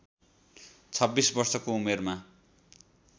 २६ वर्षको उमेरमा